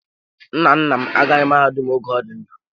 Nna nna m agaghị mahadum oge ọ dị ndụ.